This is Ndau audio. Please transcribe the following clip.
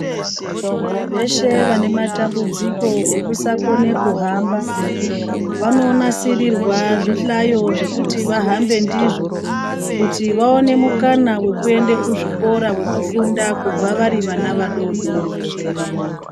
Veshe vane matambudziko ukusakone kuhamba vanonasirirwa zvihlayo zvekuti vahambe ndizvo kuti vawane mukana wekuenda kuzvikora wekufunda kubva vari vana vadodori kusvika vakura .